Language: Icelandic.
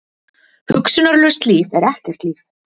Hugsunarlaust líf er ekkert líf.